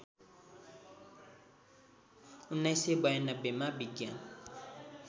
१९९२ मा विज्ञान